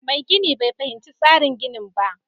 Mai gini bai fahimci tsarin ginin ba